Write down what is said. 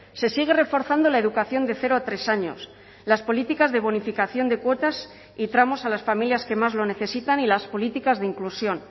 se sigue reforzando la educación de cero a tres años las políticas de bonificación de cuotas y tramos a las familias que más lo necesitan y las políticas de inclusión